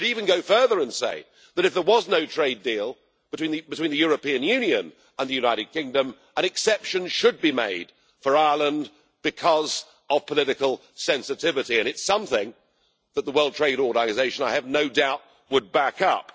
In fact, I'd even go further and say that if there was no trade deal between the European Union and the United Kingdom, an exception should be made for Ireland because of political sensitivity, and it's something that the World Trade Organisation, I have no doubt, would back up.